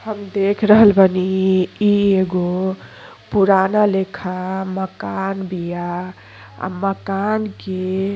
हम दिख रहल बानी ई एगो पुराना लेखा माकन बीया आ माकन के --